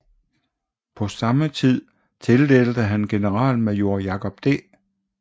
På samme tid tildelte han generalmajor Jacob D